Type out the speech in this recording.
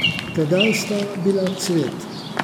Tedaj sta bila cvet.